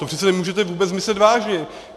To přece nemůžete vůbec myslet vážně!